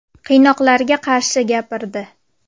Qiynoqlarga qarshi gapirdi.